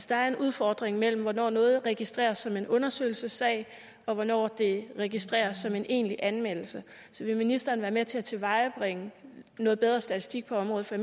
der er en udfordring mellem hvornår noget registreres som en undersøgelsessag og hvornår det registreres som en egentlig anmeldelse så vil ministeren være med til at tilvejebringe noget bedre statistik på området for